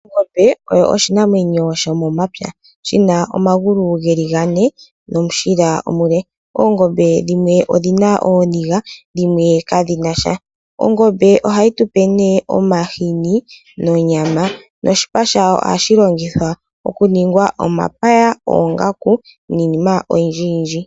Ongombe oyo oshinamwenyo shomomapya, shina omangulu ngeli ngane nomushila omule, oongombe dhimwe odhina ooninga dhimwe kadhinasha, ongombe ohayi tupe ne omahini nonyama noshipa shawo ohashi longithwa okuningwa omapaya, oongaku ninima oyindji yindji.